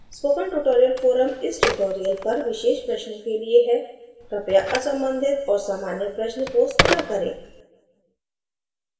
spoken tutorial forum इस tutorial पर विशेष प्रश्नों के लिए है कृपया असंबंधित और सामान्य प्रश्न post न करें